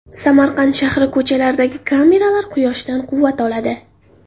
Samarqand shahri ko‘chalaridagi kameralar quyoshdan quvvat oladi.